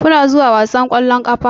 Kuna zuwa wasan ƙwallon ƙafa?